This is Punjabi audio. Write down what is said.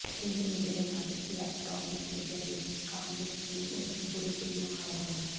ਪ੍ਰਿੰਟ ਮੀਡੀਆ ਦੇ ਨਾਲ ਇਲੈਟਰੋਨਿਕ ਮੀਡੀਆ ਦੇ ਕੰਮ ਵਿੱਚ ਵੀ ਉਸਨੂੰ ਪੂਰੀ ਪੂਰੀ ਮੁਹਾਰਤ ਹੈ